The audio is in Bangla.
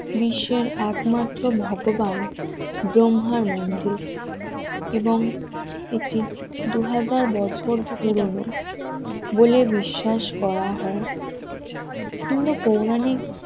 বিশ্বের একমাত্র ভগবান ব্রহ্মার মন্দির এবং এটি দুহাজার বছর পুরনো, বলে বিশ্বাস করা হয় কিংবা পৌরাণিক